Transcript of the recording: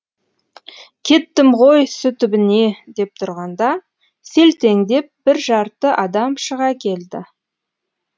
кеттім ғой су түбіне деп тұрғанда селтеңдеп бір жарты адам шыға келді